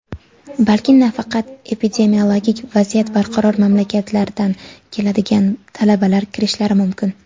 balki faqat epidemiologik vaziyat barqaror mamlakatlardan keladigan talabalar kirishlari mumkin.